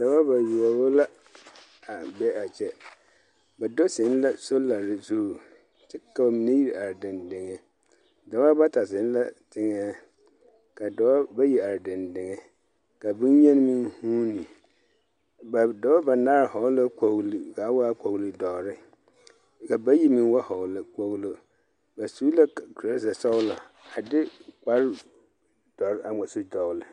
Daba bayoɔbo la a be a kyɛ. Ba do zeŋ la solare zuŋ kyɛ ka mine iri are dendeŋe. Daba bata zeŋ la teŋɛɛ, ka doba bayi ar dendeŋe.ka benyeni meŋ huuni ba doba banaare hɔɔl la kɔgli kaa waa kɔgli dɔrre, ka bayi meŋ ba hɔɔle kpoglo. Ba su la k torasa sɔglɔ a de kpardɔr a ŋma so dɔɔl.